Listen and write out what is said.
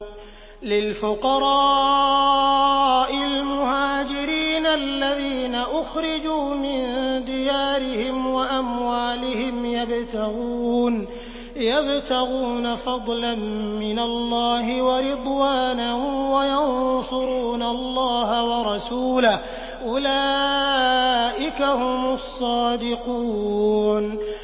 لِلْفُقَرَاءِ الْمُهَاجِرِينَ الَّذِينَ أُخْرِجُوا مِن دِيَارِهِمْ وَأَمْوَالِهِمْ يَبْتَغُونَ فَضْلًا مِّنَ اللَّهِ وَرِضْوَانًا وَيَنصُرُونَ اللَّهَ وَرَسُولَهُ ۚ أُولَٰئِكَ هُمُ الصَّادِقُونَ